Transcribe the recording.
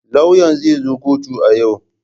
Lauyan zai zo kotun a yau?